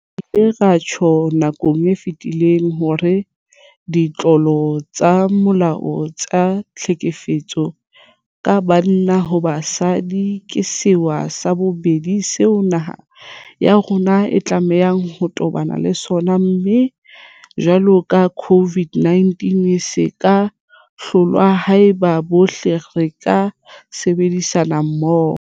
Re ile ra tjho nakong e fetileng hore ditlolo tsa molao tsa tlhekefetso ka banna ho basadi ke sewa sa bobedi seo naha ya rona e tlamehang ho tobana le sona, mme jwalo ka COVID-19 se ka hlolwa haeba bohle re ka sebedisana mmoho.